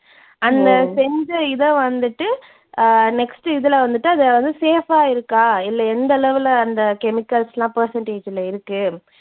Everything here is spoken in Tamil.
அந்தச் செஞ்ச இதை வந்துட்டு அஹ் next இதுல வந்துட்டு அதாவது safe ஆ இருக்கா இல்ல எந்த அளவுல அந்த chemicals எல்லாம் percentage ல இருக்கு.